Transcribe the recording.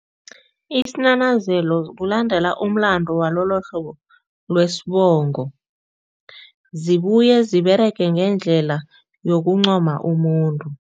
Isinanazelo kulandela umlando walolohlobo lwesibongo. Zibuye ziberege ngendlela yokuncoma umuntu.